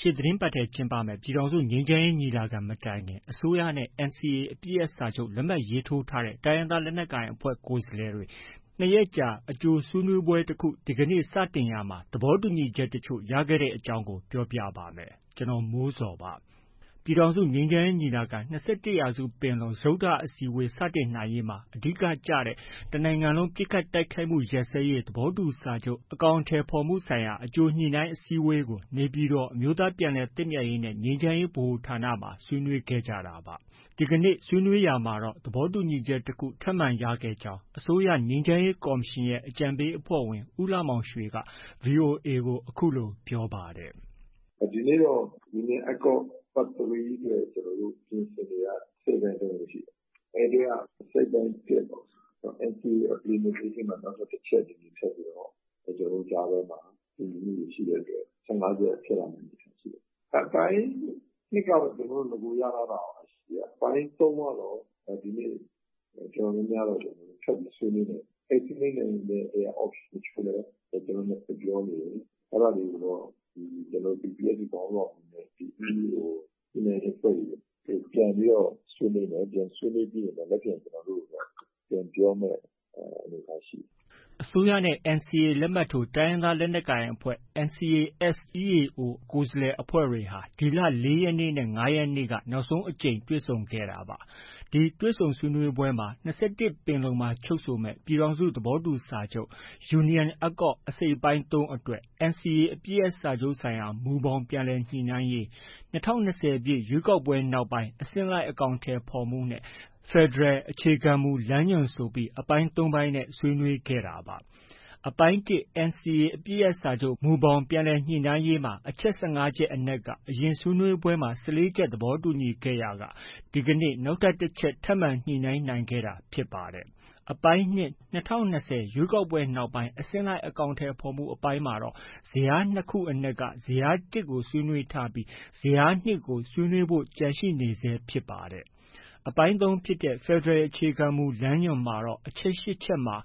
ရှေ့သီတင်းပတ်ထဲ ကျင်းပမယ့် ပြည်ထောင်စု ငြိမ်းချမ်းရေးညီလာခံ မတိုင်ခင် အစိုးရနဲ့ NCA အပစ်ရပ်စာချုပ် လက်မှတ်ထိုးထားတဲ့ တိုင်းရင်းသားလက်နက်ကိုင်အဖွဲ့ ကိုယ်စားလှယ်တွေ ၂ ရက်ကြာ အကြိုဆွေးနွေးပွဲတခု ဒီကနေ့ စတင်ရာမှာ သဘောတူညီချက်တချို့ ရခဲ့တဲ့အကြောင်း ပြောပြပါမယ်။ ဗွီအိုအေမြန်မာပိုင်းသတင်းထောက် ကိုမိုးဇော်က သတင်းပေးပို့ထားပါတယ်။ ပြည်ထောင်စုငြိမ်းချမ်းရေးညီလာခံ - ၂၁ ရာစုပင်လုံ စတုတ္ထအစည်းအဝေး စတင်နိုင်ရေးမှာ အဓိကကျတဲ့ တစ်နိုင်ငံလုံး ပစ်ခတ်တိုက်ခိုက်မှု ရပ်စဲရေး သဘောတူစာချုပ် အကောင်အထည်ဖော်မှုဆိုင်ရာ အကြိုညှိနှိုင်းအစည်းအဝေးကို နေပြည်တော် အမျိုးသားပြန်လည်သင့်မြတ်ရေးနဲ့ ငြိမ်းချမ်းရေးဗဟိုဌာနမှာ ဆွေးနွေးခဲ့ကြတာပါ။ ဒီနေ့ ဆွေးနွေးရာမှာတော့ သဘောတူညီချက်တခု ထပ်မံရခဲ့ကြောင်း အစိုးရငြိမ်းချမ်းရေးကော်မရှင်ရဲ့ အကြံပေးအဖွဲ့ဝင် ဦးလှမောင်ရွှေက ဗွီအိုအေ ကို အခုလို ပြောပါတယ်။ “ဒီနေ့တော့ Union Accord Part 3 အတွက် ကျနော်တို့ ပြင်ဆင်နေတာ အစိတ်အပိုင်း ၃ ခု ရှိတယ်။ အဲဒီထဲက အစိတ်အပိုင်း ၁ ပေါ့။ NCA Implementation မှာ နောက် ထပ် အချက် တစ်ချက် ထပ်ပြီးတော့ ကျနော်တို့ကြားထဲမှာ တူညီမှုတွေ ရှိတဲ့အတွက် ၁၅ ချက် ဖြစ်လာနိုင်စရာရှိတယ်။ အပိုင်း ၂ ကတော့ ကျနော်တို့ ရင် ရထားတာရှိတယ်။ အပိုင်း ၃ ကတော့ ကျနော်တို့ ဒီနေ့ တော်တော်များများတော့ ထပ်ပြီး ဆွေးနွေးနေတယ်။ အဲဒီ ဆွေးနွေးနိုင်တဲ့ထဲက Option တချို့လည်း ကျနော်တို့ နှစ် ဘက် ပြောနေပြီ။ အဲဒါတွေကိုတော့ PPST ခေါင်းဆောင်တွေနဲ့ EAO ညှိနှိုင်းရေးအဖွဲ့တွေ ပြန်ပြီးတော့ ဆွေးနွေးနေတယ်။ ဆွေးနွေးပြီးရင်တော့ မနက်ဖြန်မှာ ကျနော်တို့ ပြန်ပြောမယ့် အနေအထားရှိတယ်။” အစိုးရနဲ့ NCA လက်မှတ်ထိုး တိုင်းရင်းသားလက်နက်ကိုင်အဖွဲ့ (NCA-S EAO) ကိုယ်စားလှယ်အဖွဲ့တွေဟာ ဒီလ ၄ ရက်နေ့နဲ့ ၅ ရက်နေ့က နောက်ဆုံးအကြိမ်တွေ့ဆုံခဲ့တာပါ။ ဒီတွေ့ဆုံဆွေးနွေးပွဲမှာ ၂၁ပင်လုံမှာချုပ်ဆိုမယ့် ပြည်ထောင်စုသဘောတူစာချုပ် Union Accord အစိတ်အပိုင်း ၃ အတွက် NCA အပစ်ရပ်စာချုပ်ဆိုင်ရာ မူဘောင် ပြန်လည်ညှိနှိုင်းရေး၊ ၂၀၂၀ ပြည့် ရွေးကောက်ပွဲနောက်ပိုင်း အဆင့်လိုက် အကောင်အထည်ဖော်မှုနဲ့ ဖက်ဒရယ် အခြေခံမူလမ်းညွှန် ဆိုပြီး အပိုင်း ၃ ခုနဲ့ဆွေးနွေးခဲ့တာပါ။ အပိုင်း (၁) NCA အပစ်ရပ်စာချုပ် မူဘောင်ပြန်လည်ညှိနှိုင်းရေးမှာ အချက် ၁၅ ချက်အနက်က အရင်ဆွေးနွေးပွဲမှာ ၁၄ ချက် သဘောတူခဲ့ရာက ဒီနေ့ တစ်ချက် ထပ်မံ ညှိနှိုင်းနိုင်ခဲ့တာဖြစ်ပါတယ်။ အပိုင်း(၂) ၂၀၂၀ ပြည့် ရွေးကောက်ပွဲနောက်ပိုင်း အဆင့်လိုက် အကောင်အထည်ဖော်မှုအပိုင်းမှာတော့ ဇယား ၂ ခုအနက် ဇယား ၁ ကို ဆွေးနွေးထားပြီး ဇယား ၂ ကို ဆွေးနွေးဖို့ ကျန်ရှိနေဆဲဖြစ်ပါတယ်။ အပိုင်း(၃) ဖြစ်တဲ့ ဖက်ဒရယ် အခြေခံမူ လမ်းညွှန်မှာတော့ အချက် ၈ ချက်မှာ